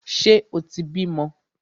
Ṣe o tí bímọ?